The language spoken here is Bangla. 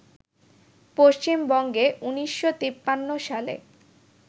পশ্চিমবঙ্গে ১৯৫৩ সালে